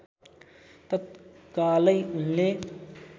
तत्कालै उनले